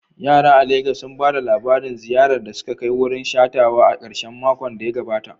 Yara a Legas sun ba da labarin ziyarar da suka kai wurin shakatawa a karshen makon da ya gabata.